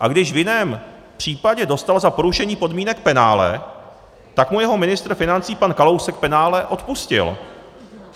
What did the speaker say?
A když v jiném případě dostal za porušení podmínek penále, tak mu jeho ministr financí pan Kalousek penále odpustil.